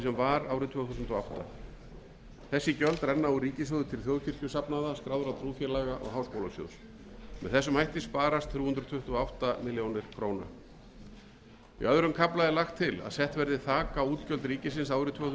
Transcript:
var árið tvö þúsund og átta þessi gjöld renna úr ríkissjóði til þjóðkirkjusafnaða skráðra trúfélaga og háskólasjóðs með þessum hætti sparast þrjú hundruð tuttugu og átta milljónir króna í öðrum kafla er lagt til að sett verði þak á útgjöld ríkisins árið tvö þúsund og